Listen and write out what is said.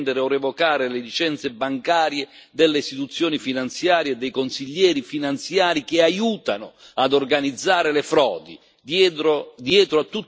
Le autorità competenti devono sospendere o revocare le licenze bancarie delle istituzioni finanziarie e dei consiglieri finanziari che aiutano ad organizzare le frodi.